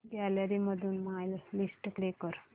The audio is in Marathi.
गॅलरी मधून माय लिस्ट प्ले कर